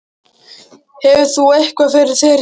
Hefur þú eitthvað fyrir þér í því?